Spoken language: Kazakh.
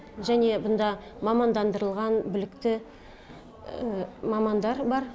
және мұнда мамандандырылған білікті мамандар бар